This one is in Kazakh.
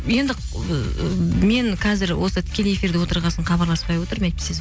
енді ыыы мен қазір осы тікелей эфирде отырған соң хабарласпай отырмын әйтпесе